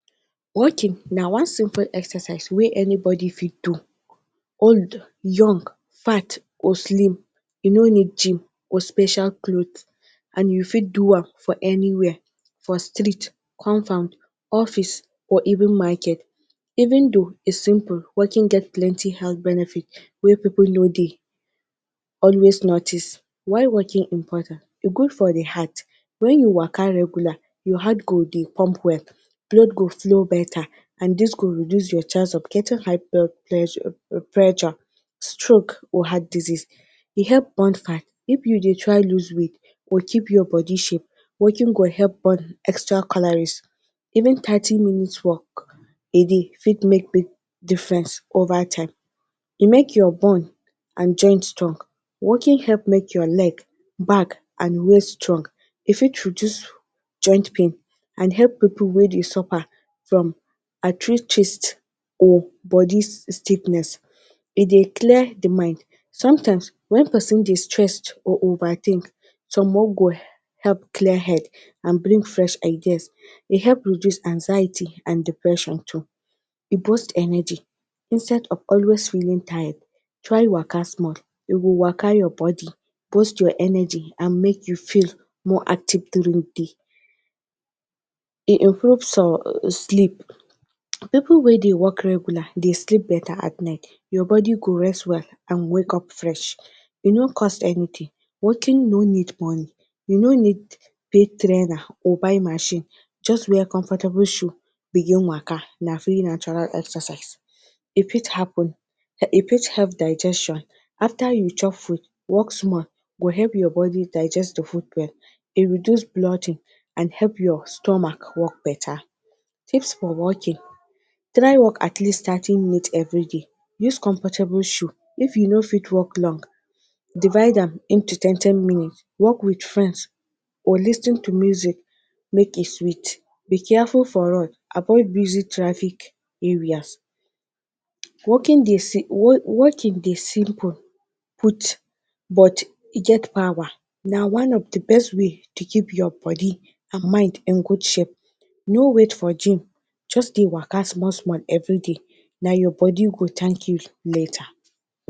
Walking na one simple exercise wey anybody fit do. Old, young, fat or slim you no need gym or special cloth and you fit do am for anywhere, for street, compound, office or even market. Even though its simple walking get plenty health benefit wey pipul no dey always notice. Why walking important; e good for dey heart- when you waka regularly your heart go dey pump well, blood go flow better and dis cud reduce your chance of getting high blood pleasure pressure, stroke or heart disease. E help burn fat- if you dey try loose weight or keep your body shape, walking go help burn extra calories even thirty minutes walk e dey fit make difference over time. E make your bone and joint strong- walking help make your leg, back and waist strong, e fit reduce joint pain and help pipul wey dey suffer from arthritis or body sickness, e dey clear dey mind. Sometimes when pesin dey stressed or overthink help clear head and bring fresh ideas. E help reduce anxiety and depression too, e boost energy instead of always feeling tired try waka small. You go waka your body, boost your energy and make you feel more active during dey day. E develop some sleep- pipul wey dey walk regular dey sleep better at night, your body go rest well and wake up fresh e no cost anything, walking no need money you no need pay trailer or buy machine just wear comfortable shoe begin waka na free natural exercise. E fit happen, e fit help digestion after you chop food walk small e go help your body digest dey food well, e reduce and help your stomache work better. Tips for walking; try walk at least thirty minutes everyday, use comfortable shoe if you no fit walk long, divide am into ten ten minutes, walk with friends or lis ten to music make e sweet. Be careful for road, avoid busy traffic areas. Walking dey walking dey simple put but e get power na one of dey best way to keep your body and mind in good shape, no wait for gym just dey waka small small everyday na your body go thank you later.